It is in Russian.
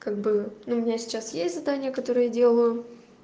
как бы ну меня сейчас есть задание которое я делаю